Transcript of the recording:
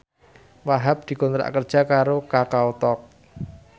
Wahhab dikontrak kerja karo Kakao Talk